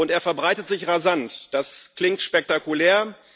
Er verbreitet sich rasant, das klingt spektakulär.